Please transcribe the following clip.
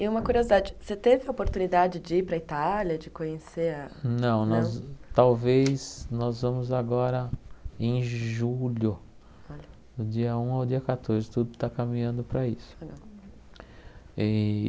E uma curiosidade, você teve a oportunidade de ir para a Itália, de conhecer a... Não, não Não Talvez nós vamos agora em julho, do dia um ao dia catorze, tudo está caminhando para isso. Eh